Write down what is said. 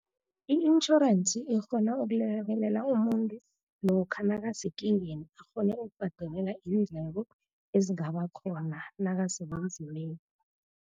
I-intjhorensi ikghona ukulekelela umuntu lokha nakasekingeni, akghone ukubhadelela iindleko ezingaba khona nakasebunzimeni.